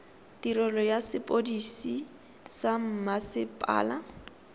tirelo ya sepodisi sa mmasepala